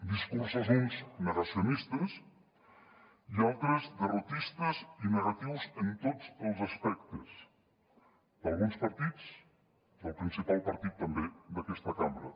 discursos uns negacionistes i altres derrotistes i negatius en tots els aspectes d’alguns partits del principal partit també d’aquesta cambra